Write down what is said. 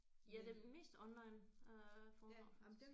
Ja det er mest online øh foredrag faktisk